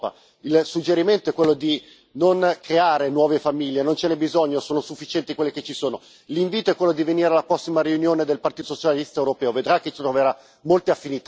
Il suggerimento è quello di non creare nuove famiglie non ce n'e bisogno, sono sufficienti quelle che ci sono. L'invito è quello di venire alla prossima riunione del Partito socialista europeo vedrà che troverà molte affinità nei nostri programmi.